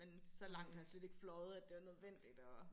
Men så langt har jeg slet ikke fløjet at det var nødvendigt og